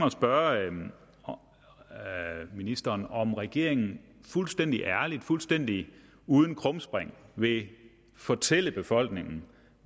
at spørge ministeren om regeringen fuldstændig ærligt fuldstændig uden krumspring vil fortælle befolkningen